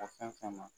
Ka fɛn fɛn ma